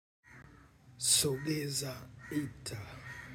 Sogeza ita.